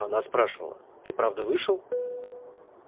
она спрашивала ты правда вышел